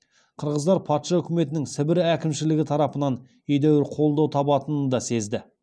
қырғыздар патша үкіметінің сібір әкімшілігі тарапынан едәуір қолдау табатынын да сезді